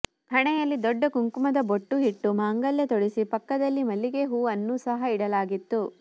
ಹಣೆಯಲ್ಲಿ ದೊಡ್ಡ ಕುಂಕುಮದ ಬೊಟ್ಟು ಇಟ್ಟು ಮಾಂಗಲ್ಯ ತೊಡಿಸಿ ಪಕ್ಕದಲ್ಲಿ ಮಲ್ಲಿಗೆ ಹೂ ಅನ್ನೂ ಸಹ ಇಡಲಾಗಿತ್ತು